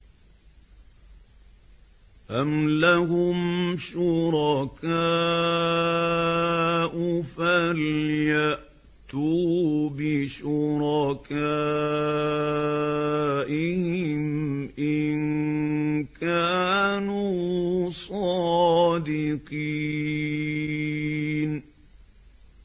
أَمْ لَهُمْ شُرَكَاءُ فَلْيَأْتُوا بِشُرَكَائِهِمْ إِن كَانُوا صَادِقِينَ